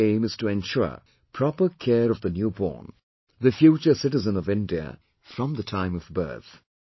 The basic aim is to ensure proper care of the newborn, the future citizen of India, from the time of birth